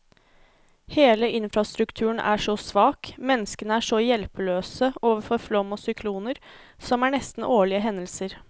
Hele infrastrukturen er så svak, menneskene er så hjelpeløse overfor flom og sykloner, som er nesten årlige hendelser.